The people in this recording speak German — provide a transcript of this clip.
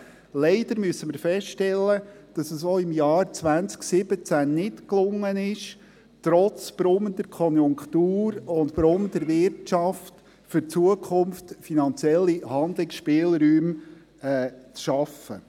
Leider müssen wir feststellen, dass es auch im Jahr 2017 nicht gelungen ist, trotz brummender Konjunktur und brummender Wirtschaft, für die Zukunft finanzielle Handlungsspielräume zu schaffen.